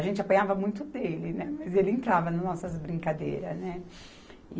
A gente apanhava muito dele, né, mas ele entrava nas nossas brincadeiras, né